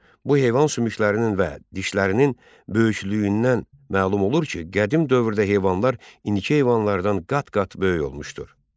Bu heyvan sümüklərinin və dişlərinin böyüklüyündən məlum olur ki, qədim dövrdə heyvanlar indiki heyvanlardan qat-qat böyük olmuşdu.